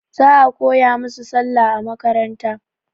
Za a koya musu Sallah a makaranta.